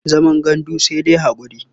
Zaman gandu sai da haƙuri.